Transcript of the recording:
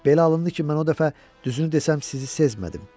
Belə alındı ki, mən o dəfə düzünü desəm sizi sezmədim.